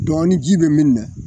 Dɔ ni ji be min na